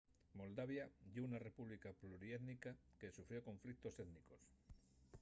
moldavia ye una república pluriétnica que sufrió conflictos étnicos